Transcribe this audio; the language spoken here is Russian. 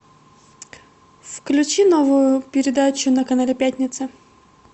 включи новую передачу на канале пятница